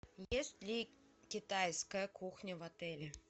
есть ли китайская кухня в отеле